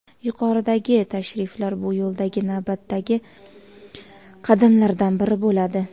Yuqoridagi tashriflar bu yo‘ldagi navbatdagi qadamlardan biri bo‘ladi.